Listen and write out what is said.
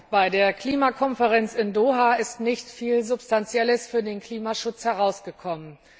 Bei der Klimakonferenz in Doha ist nicht viel Substanzielles für den Klimaschutz herausgekommen.